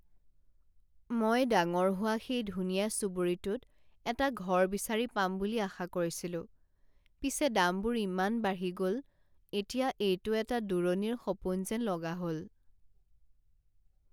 মই ডাঙৰ হোৱা সেই ধুনীয়া চুবুৰীটোত এটা ঘৰ বিচাৰি পাম বুলি আশা কৰিছিলো পিছে দামবোৰ ইমান বাঢ়ি গ'ল এতিয়া এইটো এটা দূৰণিৰ সপোন যেন লগা হ'ল।